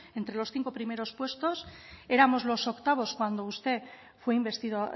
entre los cinco primeros puestos éramos los octavos cuando usted fue investido